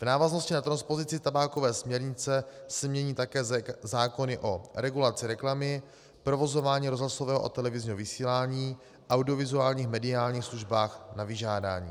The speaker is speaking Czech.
V návaznosti na transpozici tabákové směrnice se mění také zákony o regulaci reklamy, provozování rozhlasového a televizního vysílání v audiovizuálních mediálních službách na vyžádání.